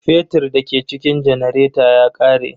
Fetir da ke cikin janareta ya ƙare.